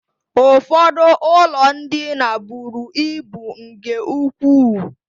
Ụfọdụ ụlọ ndina buru ibu nke ukwuu.